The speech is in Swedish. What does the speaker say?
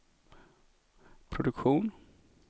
produktion